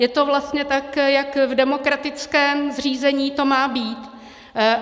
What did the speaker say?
Je to vlastně tak, jak v demokratickém zřízení to má být.